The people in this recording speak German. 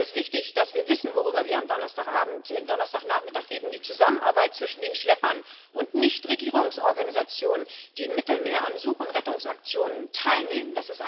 Es ist wichtig, dass wir wissen, worüber wir am Donnerstagnachmittag reden die Zusammenarbeit zwischen den Schleppern und Nichtregierungsorganisationen, die im Mittelmeer an Such und Rettungsaktionen teilnehmen.